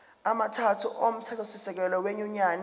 amathathu omthethosisekelo wenyunyane